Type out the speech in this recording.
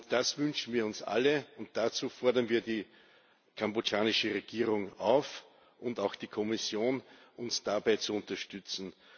Das wünschen wir uns alle, und dazu fordern wir die kambodschanische Regierung auf, und auch die Kommission, uns dabei zu unterstützen.